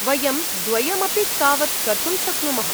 वयं द्वयम् अपि तावत् कर्तुं शक्नुमः।